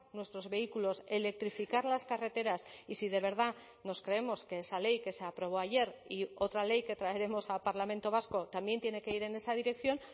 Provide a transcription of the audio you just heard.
nuestros vehículos electrificar las carreteras y si de verdad nos creemos que esa ley que se aprobó ayer y otra ley que traeremos al parlamento vasco también tiene que ir en esa dirección